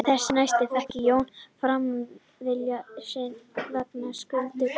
Þessu næst fékk Jón fram vilja sinn vegna skulda Kolls við Einar